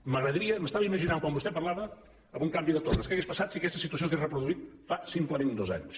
m’agradaria m’estava imaginant quan vostè parlava amb un canvi de torres què hauria passat si aquesta situació s’hagués reproduït fa simplement dos anys